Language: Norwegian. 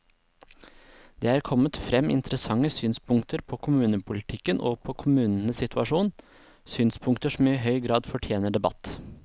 Det er kommet frem interessante synspunkter på kommunepolitikken og på kommunenes situasjon, synspunkter som i høy grad fortjener debatt.